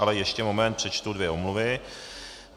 Ale ještě moment, přečtu dvě omluvy.